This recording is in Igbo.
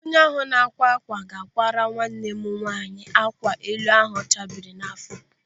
Onye ahụ na-ákwá ákwà ga-ákwàrà nwanne m nwaanyị ákwà elu a chabiri n'áfọ́.